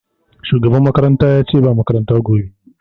Shugaban makaranta yace ce ba makaranta gobe